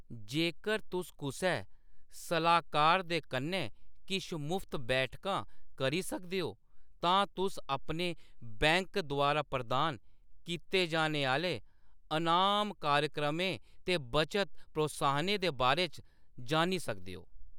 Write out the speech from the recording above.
जेकर तुस कुसै सलाह्‌‌‌कार दे कन्नै किश मुफ्त बैठकां करी सकदे ओ, तां तुस अपने बैंक द्वारा प्रदान कीते जाने आह्‌‌‌ले अनाम कार्यक्रमें ते बचत प्रोत्साहनें दे बारे च जानी सकदे ओ।